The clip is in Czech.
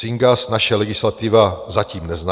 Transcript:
Syngas naše legislativa zatím nezná.